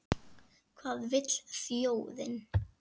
Hvað vill þjóðin?